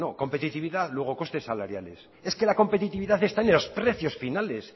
competitividad luego costes salariales es que la competitividad está en los precios finales